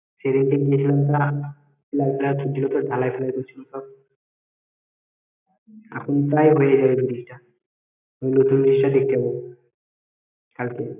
সেদিনকে গিয়েছিলাম তা pilar টিলার পুতছিল তো ঢালায় ফালায় করছিল সব করছিল এখন প্রায় হয়ে যাবে bridge ওই নতুন bridge দেখতে যাব থাকবে